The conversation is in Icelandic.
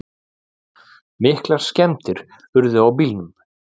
Miklar skemmdir urðu á bílunum